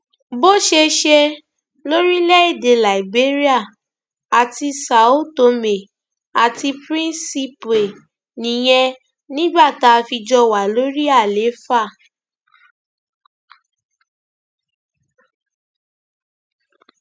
bó ṣe ṣe lórílẹèdè liberia àti são tomé and príncipe nìyẹn nígbà tá a fi jọ wà lórí àlééfà